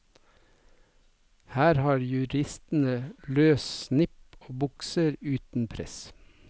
Her har juristene løs snipp og bukser uten press.